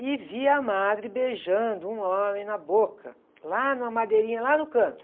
E vi a madre beijando um homem na boca, lá numa madeirinha, lá no canto.